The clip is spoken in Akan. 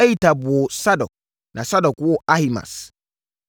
Ahitub woo Sadok, na Sadok woo Ahimaas,